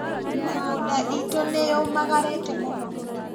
Mĩgũnda itũ nĩyũmagarĩte mũno